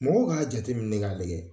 Mɔgɔw k'a jateminɛ ka lajɛ